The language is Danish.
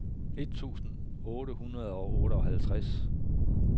et tusind otte hundrede og otteoghalvtreds